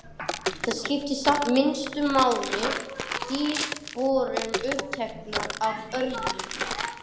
Það skipti samt minnstu máli því við vorum uppteknar af öðru.